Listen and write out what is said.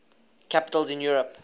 capitals in europe